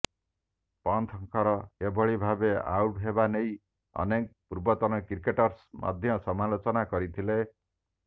ପନ୍ଥଙ୍କର ଏଭଳି ଭାବେ ଆଉଟ୍ ହେବା ନେଇ ଅନେକ ପୂର୍ବତନ କ୍ରିକେଟର୍ସ ମଧ୍ୟ ସମାଲୋଚନା କରିଥିଲେ